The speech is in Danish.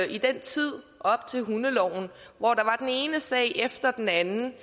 i den tid op til vedtagelsen af hundeloven hvor der var den ene sag efter den anden